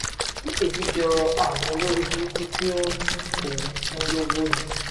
èmi jọ àwọn olórìbùrùkù tí ó ń ó ń fún lọ́wọ́ ni